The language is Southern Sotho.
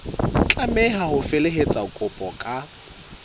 tlameha ho felehetsa kopo ka